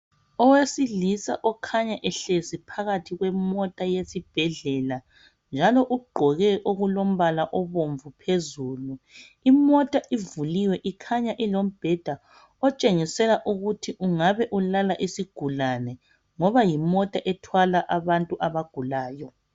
Owesilisa okhanya ehlezi phakathi kwemota eyesibhedlela. Njalo ugqoke okulombala obomvu phezulu. Imota ivuliwe ikhanya ilombheda otshengisela ukuthi ungabe ulala isigulane ngoba yimota ethwala abantu abagulayo.